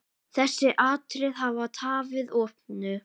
Þessi atriði hafi tafið opnun.